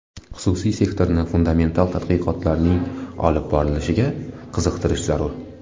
Xususiy sektorni fundamental tadqiqotlarning olib borilishiga qiziqtirish zarur.